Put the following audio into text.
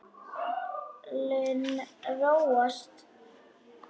Naflinn róast.